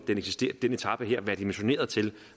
den etape her være dimensioneret til